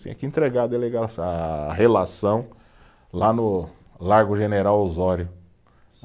Tinha que entregar a delega a relação lá no Largo General Osório